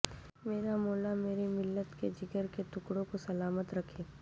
میرا مولا میری ملت کے جگر کے ٹکڑوں کو سلامت رکھے